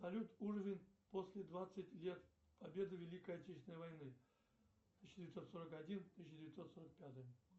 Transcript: салют уровень после двадцать лет победы в великой отечественной войны тысяча девятьсот сорок один тысяча девятьсот сорок пятый